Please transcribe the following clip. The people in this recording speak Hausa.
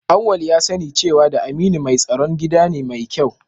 Auwal ya sani cewa da Aminu mai tsaron gida ne mai kyau